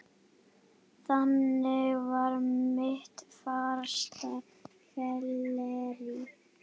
Þannig varð mitt fyrsta fyllerí